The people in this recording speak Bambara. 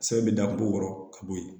Sɛbɛn bɛ da kogo wɔrɔ ka bɔ yen